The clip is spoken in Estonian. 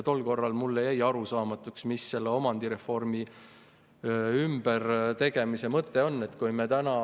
Tol korral jäi mulle arusaamatuks, mis selle omandireformi tegemise mõte on.